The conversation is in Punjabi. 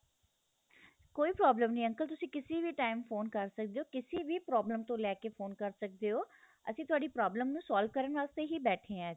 ਕੋਈ problem ਨਹੀਂ uncle ਤੁਸੀਂ ਕਿਸੀ ਵੀ time ਫੋਨ ਕਰ ਸਕਦੇ ਹੋ ਕਿਸੀ ਵੀ problem ਨੂੰ ਲੈਕੇ ਫੋਨ ਕਰ ਸਕਦੇ ਹੋ ਅਸੀਂ ਤੁਹਾਡੀ problem ਨੂੰ solve ਕਰਨ ਵਾਸਤੇ ਹੀ ਬੈਠੇ ਹਾਂ ਇਥੇ